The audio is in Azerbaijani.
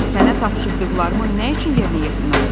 Sənə tapşırdıqlarımı nə üçün yerinə yetirməmisən?